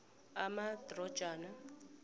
amadrojana